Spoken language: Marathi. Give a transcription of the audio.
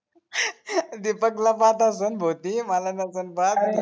दिपक ला पाहत असेल भो ती मला नसेल पाहत